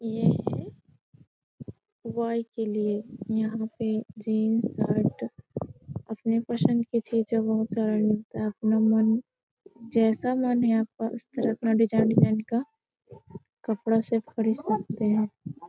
ये है बॉय के लिए यहाँ पे जीन्स शर्ट अपने पसंद के चीजें बहुत सारे मिलता है अपना मन जैसा मन है आपका उस तरह का डिज़ाइन डिज़ाइन का कपड़ा सब खरीद सकते हैं।